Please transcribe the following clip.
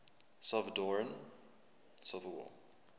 salvadoran civil war